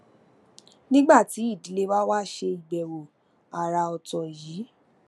nígbà tí ìdílé wa wá ṣe ìbèwò àrà òtò yìí